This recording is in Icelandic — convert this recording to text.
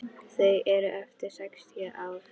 Þau eru eftir sextíu ár.